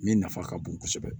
Min nafa ka bon kosɛbɛ